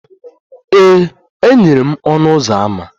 Ee, e nyere m ọnụ ụzọ ámá.